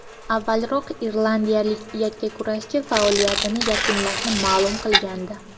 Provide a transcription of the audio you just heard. Avvalroq irlandiyalik yakkakurashchi faoliyatini yakunlashini ma’lum qilgandi .